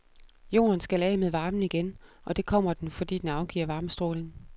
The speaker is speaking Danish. Jorden skal af med varmen igen, og det kommer den, fordi den afgiver varmestråling.